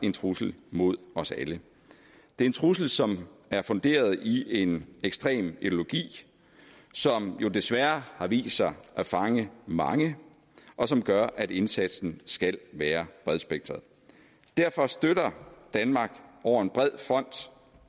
en trussel mod os alle det er en trussel som er funderet i en ekstrem ideologi som jo desværre har vist sig at fange mange og som gør at indsatsen skal være bredspektret derfor støtter danmark over en bred front